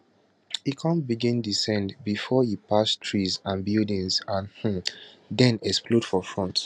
e kon begin descend bifor e pass trees and buildings and um den explode for front